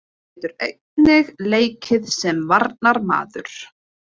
Hafdís getur einnig leikið sem varnarmaður.